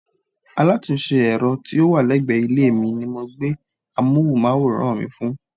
Alátúnse èro tí ó wà légbè ilé mi ni mo gbé amóhúnmáwòrán mi fún